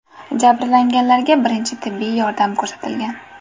Jabrlanganlarga birinchi tibbiy yordam ko‘rsatilgan.